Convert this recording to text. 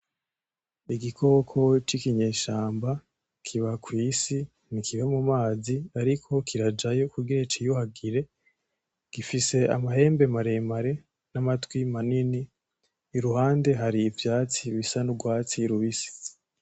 Igikoko c'inkinyeshamba kiba kw'isi, ntikiba mu mazi ariko kirajayo kugira ciyuhagire ,gifise amahembe maremare, n'amatwi manini iruhande hari ivyatsi bisa n'urwatsi rubisi.